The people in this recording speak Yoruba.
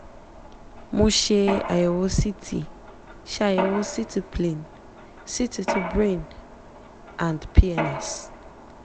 mo ṣe àyẹ̀wò ct ṣe àyẹ̀wò ct plain ct ti brain and pns